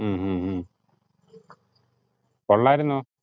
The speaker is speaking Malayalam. ഉം ഉം ഉം കൊള്ളാരുന്നോ?